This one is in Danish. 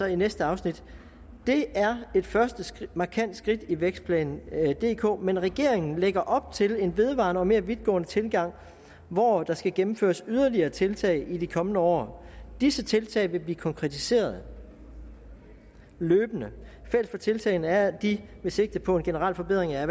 i næste afsnit det er et første markant skridt i vækstplan dk men regeringen lægger op til en vedvarende og mere vidtgående tilgang hvor der skal gennemføres yderligere tiltag i de kommende år disse tiltag vil blive konkretiseret løbende fælles for tiltagene er at de vil sigte på en generel forbedring af